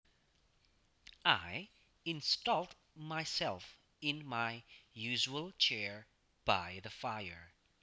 I installed myself in my usual chair by the fire